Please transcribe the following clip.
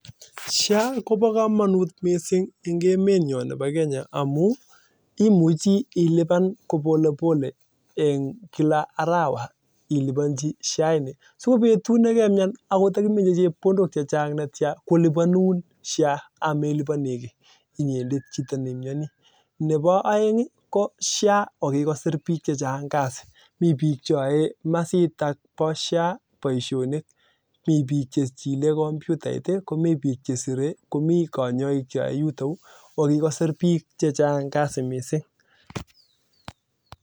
SHA koboo kamanut missing amuu ilipan kopole pole eng kila arawaa si ko betut nekemnyan akot takimeche chepkondok chechang ii kolibanun sha. sha kora ko kikosir bik chengang kasii